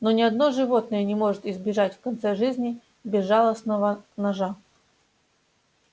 но ни одно животное не может избежать в конце жизни безжалостного ножа